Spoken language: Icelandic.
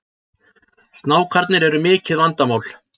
Snákarnir eru mikið vandamál